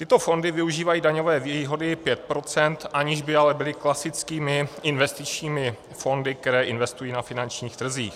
Tyto fondy využívají daňové výhody 5 %, aniž by ale byly klasickými investičními fondy, které investují na finančních trzích.